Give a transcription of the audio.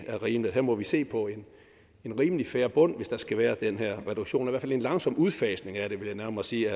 er rimeligt her må vi se på en rimelig fair bund hvis der skal være den her reduktion en langsom udfasning af den vil jeg nærmere sige